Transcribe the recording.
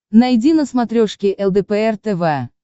найди на смотрешке лдпр тв